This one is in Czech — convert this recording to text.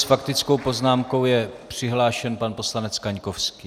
S faktickou poznámkou je přihlášen pan poslanec Kaňkovský.